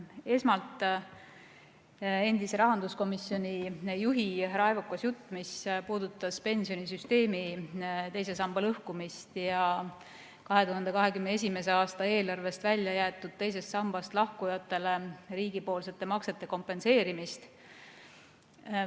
Esmalt endise rahanduskomisjoni juhi raevukas jutt, mis puudutas pensionisüsteemi teise samba lõhkumist ja 2021. aasta eelarvest välja jäetud teisest sambast lahkujatele riigipoolsete maksete kompenseerimist.